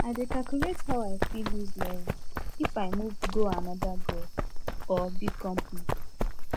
i dey calculate how i fit lose level if i move go another gov or big company